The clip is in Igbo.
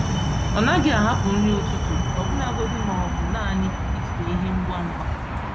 Ọ naghị ahapụ nri ụtụtụ, ọbụlagodi ma ọ bụ naanị ijide ihe ngwa ngwa.